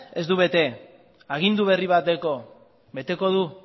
ez du bete agindu berri bat dauka beteko du